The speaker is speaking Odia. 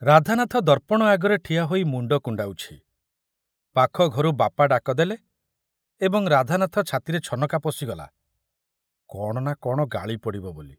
ରାଧାନାଥ ଦର୍ପଣ ଆଗରେ ଠିଆ ହୋଇ ମୁଣ୍ଡ କୁଣ୍ଡାଉଛି, ପାଖ ଘରୁ ବାପା ଡାକ ଦେଲେ ଏବଂ ରାଧାନାଥ ଛାତିରେ ଛନକା ପଶିଗଲା କଣ ନା କଣ ଗାଳି ପଡ଼ିବ ବୋଲି।